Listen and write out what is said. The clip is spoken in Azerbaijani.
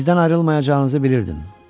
Bizdən ayrılmayacağınızı bilirdim.